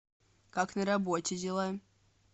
как на работе дела